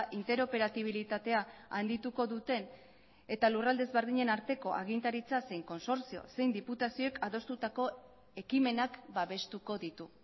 interoperabilitatea handituko duten eta lurralde ezberdinen arteko agintaritza zein konsortzio zein diputazioek adostutako ekimenak babestuko ditu